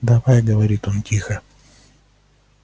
давай говорит он тихо